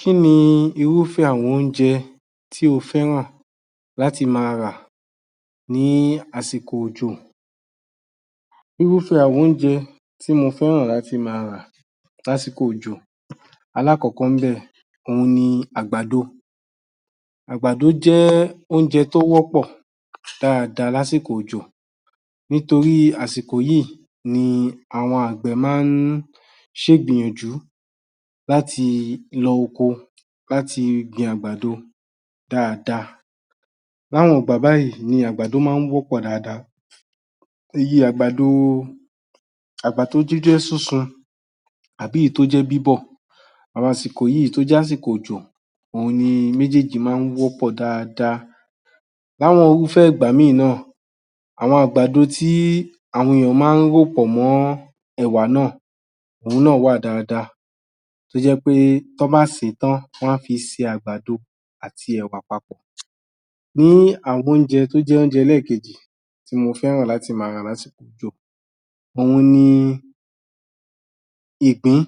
Kí ni irúfẹ́ àwọn oúnjẹ tí o fẹ́ràn láti máa rà ní àsìkò òjò? Irúfẹ́ àwọn oúnjẹ tí mo fẹ́ràn láti máa rà lásìkò òjò, alákọ̀ọ́kọ́ ńbẹ̀, òun ni àgbàdo. Àgbàdo jẹ́ oúnjẹ tó wọ́pọ̀ dáadáa lásìkò òjò nítorí àsìkò yìí ni àwọn àgbẹ̀ máa ń ṣègbìyànjú láti lọ oko, láti gbin àgbàdo dáadáa. Láwọn ìgbà báyìí ni àgbàdo máa ń wọ́pọ̀ dáadáa. Iye [àgbàdo…] àgbàdo tó jẹ́ sísun àbí ìyí tó jẹ́ bíbọ̀ àsìkò yìí tó jẹ́ àsìkò òjò òun ni méjèèjì máa ń wọ́pọ̀ dáadáa. Láwọn irúfẹ́ ìgbà míì náà, àwọn àgbàdo tí àwọn èèyàn máa ń rò pọ̀ mọ́ ẹ̀wà náà, òun náà wà dáadáa tó jẹ́ pé tọ́n bá sè é tán, wọ́n á fi ṣe àgbàdo àti ẹ̀wạ̀ papọ̀. Ní àwọn oúnjẹ tó jẹ́ oúnje ẹlẹ́ẹ̀kejì tí mo fẹ́ràn láti máa rà lásìkò òjò òun ni ìgbín